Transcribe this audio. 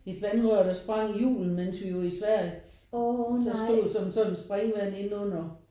Et vandrør der sprang i julen mens vi var i Sverige. Så der stod såden et springvand inden under